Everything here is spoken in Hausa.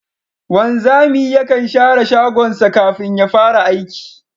Wanzami yakan share shagonsa kafin ya fara aiki